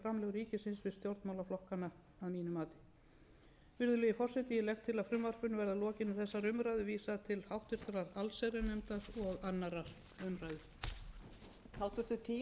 að mínu mati virðulegi forseti ég legg til að frumvarpinu verði að lokinni þessari umræðu vísað til háttvirtrar allsherjarnefndar og annarrar umræðu